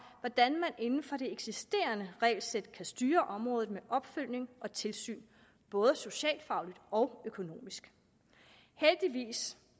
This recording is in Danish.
hvordan man inden for det eksisterende regelsæt kan styre området med opfølgning og tilsyn både socialfagligt og økonomisk heldigvis